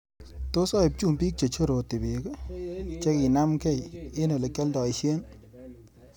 Tos aip chumbik chechoroti beek cheginamgei eng olegialdoishen